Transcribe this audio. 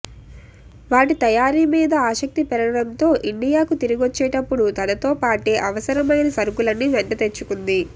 వాటి తయారీ మీద ఆసక్తి పెరగడంతో ఇండియాకు తిరిగొచ్చేటప్పుడు తనతో పాటే అవసరమైన సరకులన్నీ వెంటతెచ్చుకుంది